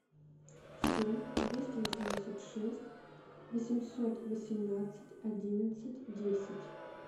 семь двести восемьдесят шесть восемьсот восемнадцать одиннадцать десять